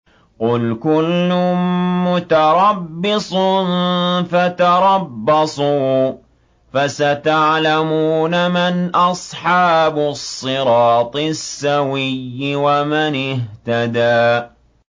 قُلْ كُلٌّ مُّتَرَبِّصٌ فَتَرَبَّصُوا ۖ فَسَتَعْلَمُونَ مَنْ أَصْحَابُ الصِّرَاطِ السَّوِيِّ وَمَنِ اهْتَدَىٰ